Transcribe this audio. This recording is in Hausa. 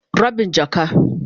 Rabin jaka.